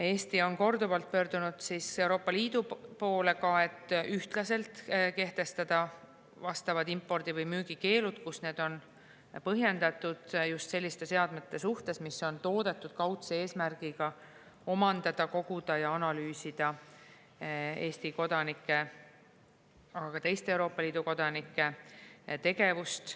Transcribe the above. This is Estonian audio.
Eesti on korduvalt pöördunud Euroopa Liidu poole, et ühtlaselt kehtestada vastavad impordi- või müügikeelud, kus need on põhjendatud just selliste seadmete suhtes, mis on toodetud kaudse eesmärgiga omandada, koguda ja analüüsida Eesti kodanike, aga ka teiste Euroopa Liidu kodanike tegevust.